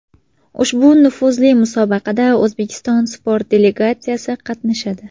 Ushbu nufuzli musobaqada O‘zbekiston sport delegatsiyasi qatnashadi.